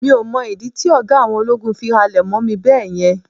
mi o mọ ìdí tí oga àwọn ológun fi halẹ̀ mọ mí beeyen